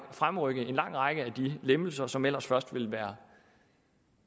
fremrykke en lang række af de lempelser som ellers først ville være